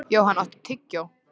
Johan, áttu tyggjó?